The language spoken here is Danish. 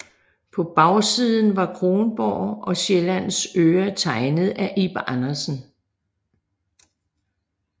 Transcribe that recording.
På bagsiden var Kronborg og Sjællands Øre tegnet af Ib Andersen